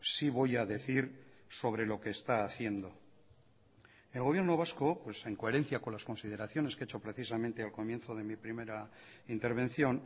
sí voy a decir sobre lo que está haciendo el gobierno vasco en coherencia con las consideraciones que he hecho precisamente al comienzo de mi primera intervención